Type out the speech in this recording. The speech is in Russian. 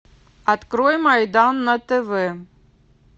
открой майдан на тв